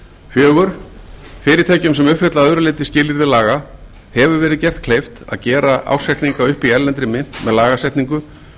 fjórða fyrirtækjum sem uppfylla að öðru leyti skilyrðum laga hefur verið gert kleift að gera ársreikninga upp í erlendri mynt með lagasetningu